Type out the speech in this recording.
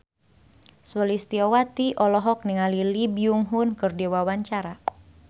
Sulistyowati olohok ningali Lee Byung Hun keur diwawancara